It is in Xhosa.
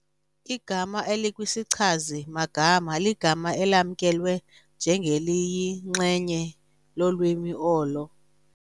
Igama elikwisichazi-magama ligama elamkelwe njengeliyinxenye lolwimi olo.